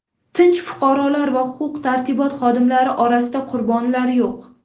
Tinch fuqarolar va huquq-tartibot xodimlari orasida qurbonlar yo‘q.